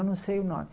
Eu não sei o nome.